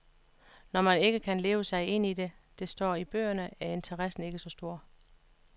Når man ikke kan leve sig ind i det, der står i bøgerne, er interessen ikke så stor.